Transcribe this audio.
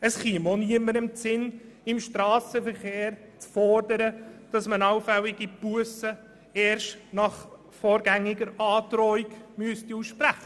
Es käme niemandem in den Sinn, im Strassenverkehr zu fordern, allfällige Bussen erst nach vorgängiger Androhung auszusprechen.